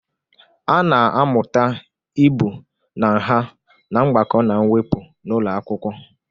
A na-amụta ibu na nha na mgbakọ na mwepụ n'ụlọ akwụkwọ.